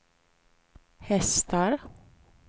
hästar